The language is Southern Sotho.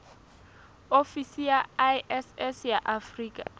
ofisi ya iss ya afrika